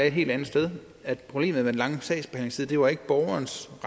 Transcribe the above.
et helt andet sted problemet med den lange sagsbehandlingstid var ikke borgerens